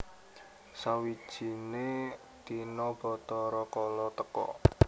Sawijine dina Bathara Kala teka